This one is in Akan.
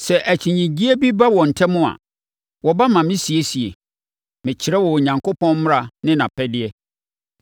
Sɛ akyinnyeɛ bi ba wɔn ntam a, wɔba ma mesiesie. Mekyerɛ wɔn Onyankopɔn mmara ne nʼapɛdeɛ.”